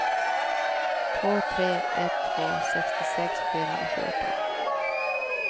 två tre ett två sextiosex fyrahundrafjorton